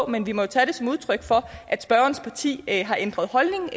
men vi må jo tage det som udtryk for at spørgerens parti har ændret holdning